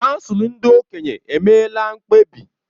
Kansụl ndị okenye emeela mkpebi.